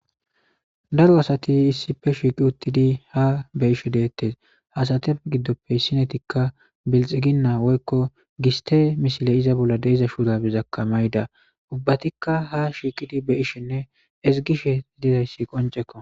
daro asati issife shiiqi uttidi ha be ishe deettes hasatef giddoppe ssinetikka bilxiginnaa woykko giste mishile iza bolla deiza shuurabizakka mayda ubbatikka ha shiiqidi be ishenne esigishe didayssi qoncekko